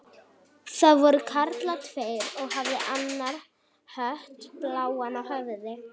Það voru karlar tveir og hafði annar hött bláan á höfði.